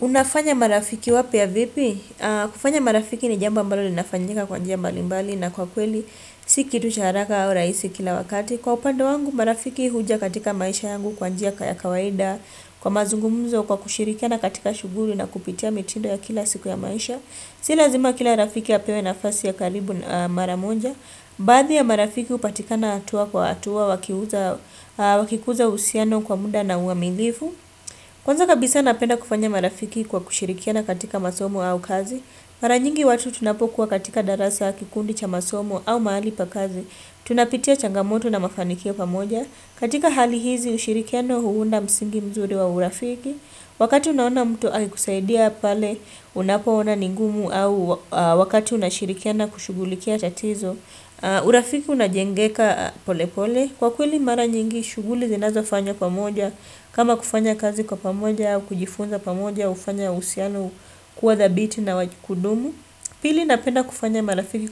Unafanya marafiki wapya vipi? Kufanya marafiki ni jambo ambalo linafanyika kwa njia mbalimbali na kwa kweli si kitu cha haraka au rahisi kila wakati. Kwa upande wangu marafiki huja katika maisha yangu kwa njia ya kawaida kwa mazungumzo kwa kushirikia na katika shughuli na kupitia mitindo ya kila siku ya maisha. Si lazima kila rafiki apewe na fasi ya karibu maramoja. Baadhi ya marafiki hupatikana hatua kwa hatua wakikuza uhusiano kwa muda na uaminifu. Kwanza kabisa napenda kufanya marafiki kwa kushirikiana katika masomo au kazi. Maranyingi watu tunapokuwa katika darasa kikundi cha masomu au mahali pakazi. Tunapitia changamoto na mafanikio pamoja. Katika hali hizi ushirikiano huunda msingi mzuri wa urafiki. Wakati unaona mtu akikusaidia pale, unapoona ningumu au wakati unashirikiana kushughulikia tatizo, urafiki unajengeka pole pole. Kwa kweli mara nyingi, shughuli zinazo fanywa pamoja, kama kufanya kazi kwa pamoja, au kujifunza pamoja, hufanya uhusiano kuwa thabiti na kudumu. Pili napenda kufanya marafiki